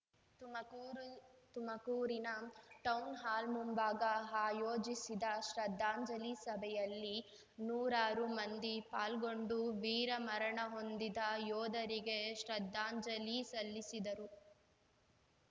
ತುಮಕೂರು ತುಮಕೂರಿನ ಟೌನ್‌ಹಾಲ್‌ ಮುಂಭಾಗ ಆಯೋಜಿಸಿದ್ದ ಶ್ರದ್ಧಾಂಜಲಿ ಸಭೆಯಲ್ಲಿ ನೂರಾರು ಮಂದಿ ಪಾಲ್ಗೊಂಡು ವೀರ ಮರಣಹೊಂದಿದ ಯೋಧರಿಗೆ ಶ್ರದ್ಧಾಂಜಲಿ ಸಿಲ್ಲಿಸಿದರು